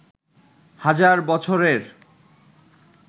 হাজার বছরের